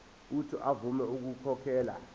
uuthi avume ukukhokhela